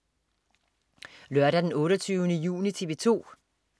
Lørdag den 28. juni - TV 2: